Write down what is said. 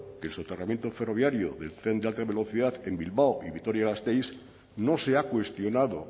que el soterramiento ferroviario del tren de alta velocidad en bilbao y vitoria gasteiz no se ha cuestionado